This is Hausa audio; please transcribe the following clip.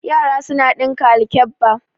Yara suna ɗinka alkabba.